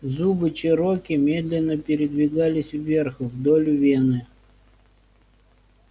зубы чероки медленно передвигались вверх вдоль вены